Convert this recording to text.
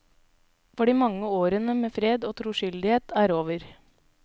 For de mange årene med fred og troskyldighet er over.